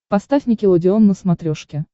поставь никелодеон на смотрешке